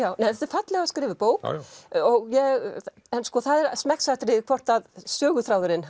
þetta er fallega skrifuð bók en það er smekksatriði hvort söguþráðurinn